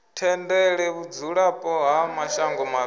tendele vhudzulapo ha mashango mavhili